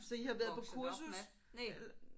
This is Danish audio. Så I har været på kursus? Eller